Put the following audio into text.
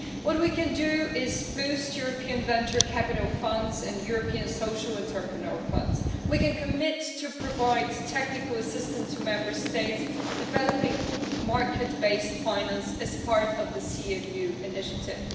What we can do is boost European venture capital funds and European social entrepreneur funds. We can commit to providing technical assistance to Member States and developing market based finance as part of the Capital Markets Union initiative.